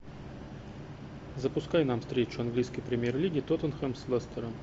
запускай нам встречу английской премьер лиги тоттенхэм с лестером